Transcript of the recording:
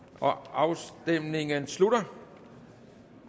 afstemningen slutter